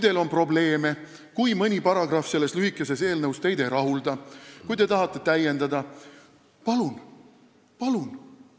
Kui teil on probleeme, kui mõni paragrahv selles lühikeses eelnõus teid ei rahulda, kui te tahate täiendada, siis palun!